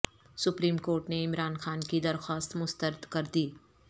supreme court نے عمران خان کی درخواست مسترد کر دی